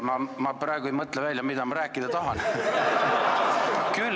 Ma praegu ei mõtle välja, mida ma rääkida tahan.